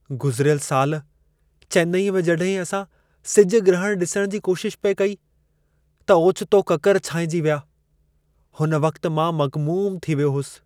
गुज़िरियलु साल चेन्नई में जड॒हिं असां सिजु ग्रहणु डि॒सणु जी कोशिशि पिए कई त ओचितो ककर छांइजी विया। हुन वक़्तु मां मग़मूमु थी वियो होसि।